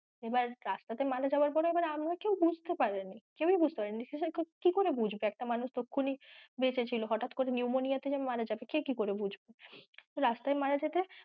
এবার রাস্তা তে মারা যাওয়ার পরেও এবার মামি হচ্ছে বুঝতে পারেনি কেউই বুঝতে পারেনি, কেউই বুঝতে পারেনি কি করে বুঝবে একটা মানুষ তক্ষুনি বেঁচে ছিল হঠাৎ করে pneumonia তে যে মারা যাবে কে কি করে বুঝবে রাস্তায় মারা যেতে,